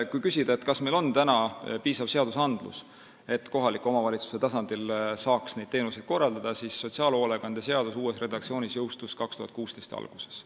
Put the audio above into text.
Kui küsida, kas meil on piisavalt seadusi, et kohaliku omavalitsuse tasandil saaks neid teenuseid korraldada, siis sotsiaalhoolekande seaduse uus redaktsioon jõustus 2016. aasta alguses.